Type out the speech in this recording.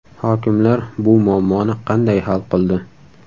Hokimlar bu muammoni qanday hal qildi?